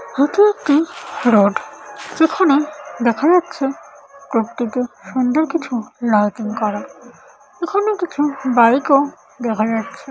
এটা একটি রোড সেখানে দেখা যাচ্ছে প্রকৃতি সুন্দর কিছু লাইটিং করা । এখানে কিছু বাইক ও দেখা যাচ্ছে ।